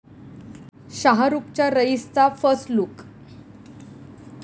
शाहरूखच्या 'रईस'चा first look